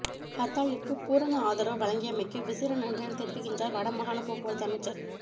ஹர்த்தாலிற்கு பூரண ஆதரவு வழங்கியமைக்கு விசேட நன்றிகளை தெரிவிக்கின்றார் வட மாகாண போக்குவரத்து அமைச்சர்